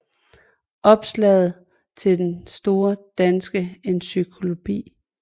Opslag i Den Store Danske Encyklopædi